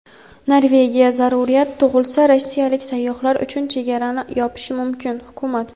Norvegiya zaruriyat tug‘ilsa rossiyalik sayyohlar uchun chegarani yopishi mumkin – hukumat.